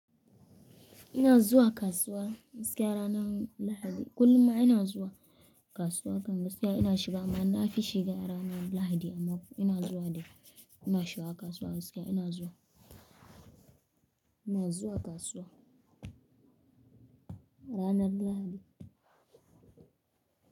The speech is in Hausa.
Ina zuwa kasuwa gaskiya ranar Lahadi. Kullum ina zuwa kasuwa kan gaskiya ina shiga mana. Na fi shiga ranar Lahadi amma ina zuwa dai. Ina shiga kasuwa gaskiya ina zuwa, ina zuwa kasuwa ranar Lahadi.